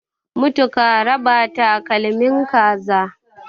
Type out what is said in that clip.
mutu karaba takalmin kaza